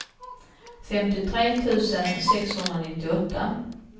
femtiotre tusen sexhundranittioåtta